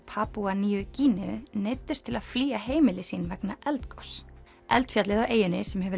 Papúa nýju Gíneu neyddust til að flýja heimili sín vegna eldgoss eldfjallið á eyjunni sem